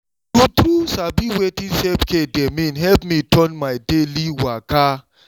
true true sabi wetin self-care dey mean help me turn my daily waka.